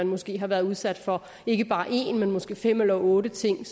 måske har været udsat for ikke bare én men måske fem eller otte ting